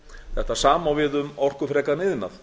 þetta sama á við um orkufrekan iðnað